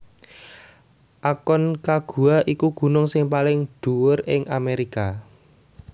Aconcagua iku gunung sing paling dhuwur ing Amérika